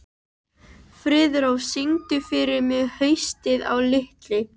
Friðrós, syngdu fyrir mig „Haustið á liti“.